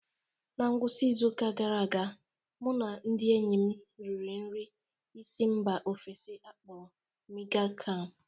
Na ngwụsị izu ụka gara aga, mụ na ndị enyi m nri nri si mba ofesi a kpọrọ miang kham.